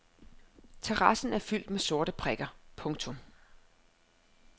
Terrassen er fyldt med sorte prikker. punktum